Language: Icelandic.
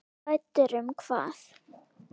Hræddur um hvað?